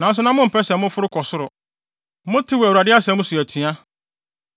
Nanso na mompɛ sɛ moforo kɔ soro. Motew Awurade asɛm so atua.